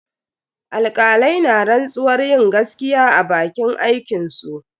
Alkalai na rantsuwar yin gaskiya a bakin aikinsu.